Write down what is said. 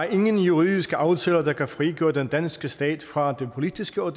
ingen juridiske aftaler der kan frigøre den danske stat fra det politiske og